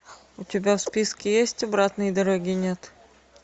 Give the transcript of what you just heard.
у тебя в списке есть обратной дороги нет